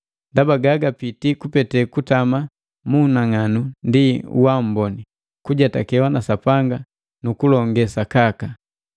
ndaba gagapiti kupete kutama mu unang'anu ndi uamboni, kujetakewa na Sapanga nu kulonge sakaka.